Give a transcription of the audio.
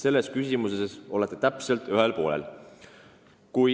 Selleski küsimuses te olete ühel poolel.